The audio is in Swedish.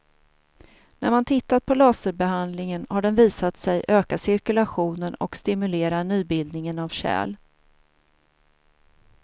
När man tittat på laserbehandlingen har den visat sig öka cirkulationen och stimulera nybildningen av kärl.